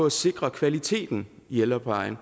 at sikre kvaliteten i ældreplejen